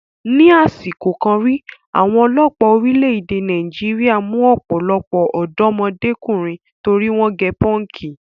Ni àsìkò kan rí, àwọn ọlọ́pàá orílẹ̀-èdè Nàìjíríà mú ọ̀pọ̀lọpọ̀ ọ̀dọ́mọdékùnrin torí wọ́n gẹ pọ́ǹkì.